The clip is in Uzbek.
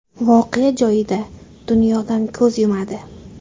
voqea joyida dunyodan ko‘z yumadi.